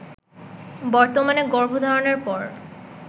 বর্তমানে গর্ভধারণের পর